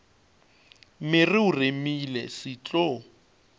mere o remile se tlo